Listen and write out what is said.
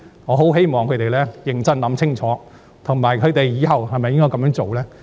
我希望他們認真想清楚往後是否仍要這樣做。